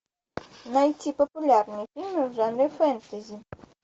найти популярные фильмы в жанре фэнтези